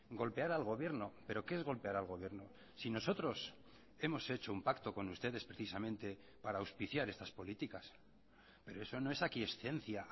golpear al gobierno pero qué es golpear al gobierno si nosotros hemos hecho un pacto con ustedes precisamente para auspiciar estas políticas pero eso no es aquiescencia